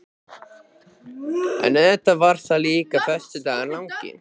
En auðvitað var það líka föstudagurinn langi.